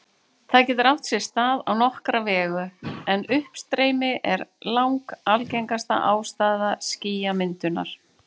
Það getur átt sér stað á nokkra vegu, en uppstreymi er langalgengasta ástæða skýjamyndunar.